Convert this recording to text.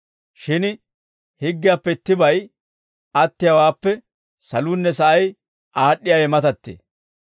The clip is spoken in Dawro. Shin higgiyaappe ittibay attiyaawaappe saluunne sa'ay aad'd'iyaawe matattee.